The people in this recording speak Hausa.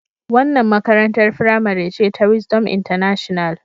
Wannan makarantar firamare ce ta Wisdom international.